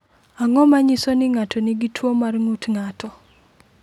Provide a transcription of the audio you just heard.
Ang’o ma nyiso ni ng’ato nigi tuwo mar ng’ut ng’ato?